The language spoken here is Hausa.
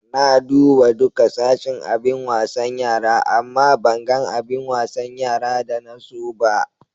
Na duba duka sashin abin wasan yara, amma ban gan abin wasan yara da na so ba.